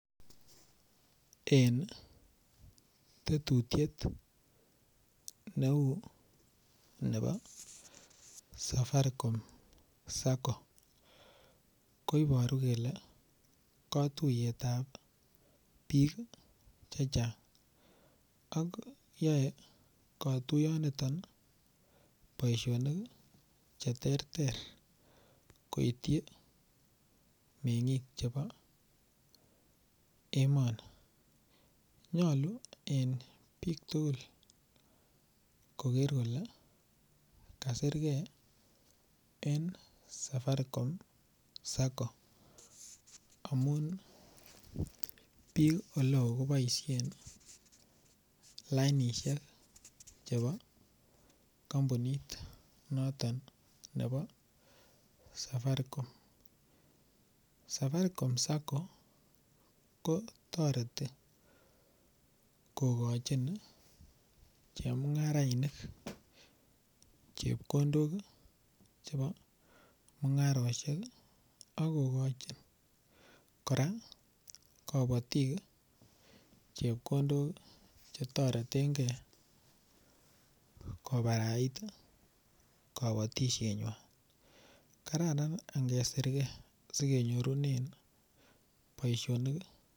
Eng tetutiet neu nebo safaricom sacco koiboru kole katuiyet ap biik che chang ak yoe katuyoniton boishonik che ter ter koitchi meng'ik chebo emoni nyolu eng biik tukul koker kole kasergei eng safaricom sacco amun biik oleo koboishen lainishek chebo kompunit noto nebo safaricom, safaricom sacco ko toreti kokochin chemungarainik chepkondok chebo mung'aroshek akokoch kora kobotik chepkondok chetoretegei kobarait kobotishet nywan kararan angesergei aikenyorunen boishonik.